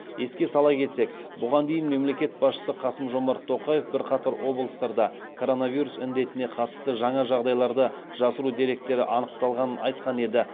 еске сала кетсек бұған дейін мемлекет басшысы қасым жомарт тоқаев бірқатар облыстарда коронавирус індетіне қатысты жаңа жағдайларды жасыру деректері анықталғанын айтқан еді